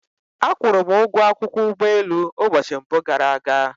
A kwụrụ m ụgwọ akwụkwọ ụgbọelu ụbọchị mbụ gara aga